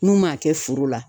N'u m'a kɛ foro la.